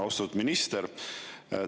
Austatud minister!